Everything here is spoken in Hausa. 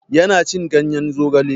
Ya na cin ganyen zogale.